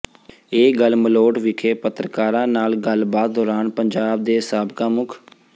ਇਹ ਗੱਲ ਮਲੋਟ ਵਿਖੇ ਪੱਤਰਕਾਰਾਂ ਨਾਲ ਗੱਲਬਾਤ ਦੌਰਾਨ ਪੰਜਾਬ ਦੇ ਸਾਬਕਾ ਮੁੱ